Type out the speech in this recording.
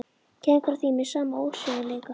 Gengur að því með sama ósveigjanleika.